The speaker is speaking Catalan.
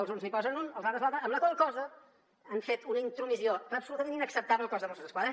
els uns hi posen l’un els altres l’altre amb la qual cosa han fet una intromissió absolutament inacceptable al cos de mossos d’esquadra